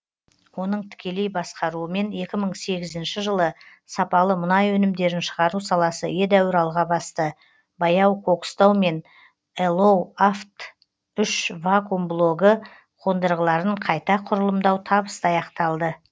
оның тікелей басқаруымен екі мың сегізінші жылы сапалы мұнай өнімдерін шығару саласы едәуір алға басты баяу кокстау мен элоу авт үш вакуум блогы қондырғыларын қайта құрылымдау табысты аяқталды